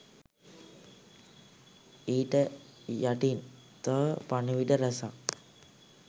ඊට යටින් තව පණිවිඩ රැසක්